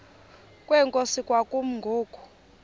kwenkosi kwakumi ngoku